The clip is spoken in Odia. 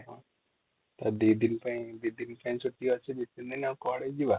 ଦି ଦିନ ପାଇଁ ଛୁଟି ଅଛି ଆଉ କୁଆଡେ ଯିବା |